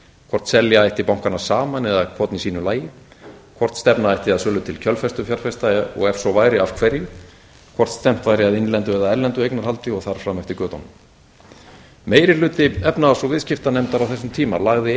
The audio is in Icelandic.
hvort selja ætti bankana saman eða hvorn í sínu lagi hvort stefna ætti að sölu til kjölfestufjárfesta og ef svo væri af hverju hvort stefnt væri að innlendu eða erlendu eignarhaldi og þar fram eftir götunum meiri hluti efnahags og viðskiptanefndar á þessum tíma lagði